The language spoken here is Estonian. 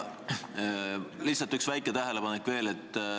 Lihtsalt üks väike tähelepanek veel.